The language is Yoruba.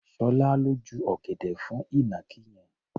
Ṣọlá ló ju ọ̀gẹ̀dẹ̀ fún ìnàkí yẹn.